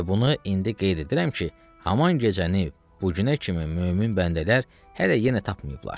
Və bunu indi qeyd edirəm ki, haman gecəni bu günə kimi mömin bəndələr hələ yenə tapmayıblar.